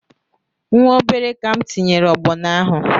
Nwa obere ka m tinyere ọgbọnọ ahụ